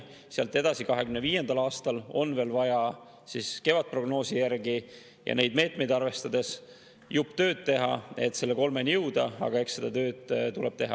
Sealt edasi, 2025. aastal on vaja kevadprognoosi järgi ja neid meetmeid arvestades veel jupp tööd teha, et selle 3%-ni jõuda, aga eks seda tööd tuleb teha.